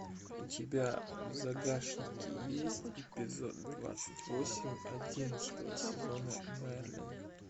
у тебя в загашнике есть эпизод двадцать восемь одиннадцатого сезона мерлин